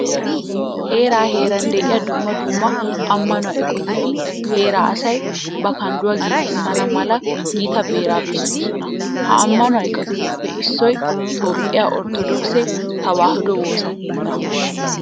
Heeran heeran de'iya dumma dumma ammanuwa eqotati heeraa asay ba kandduwa giigissana mala gita beeraa bessoosona. Ha ammanuwa eqotatuppe issoy toophphiya orttodookise tewaahiduwa woosa keettaa.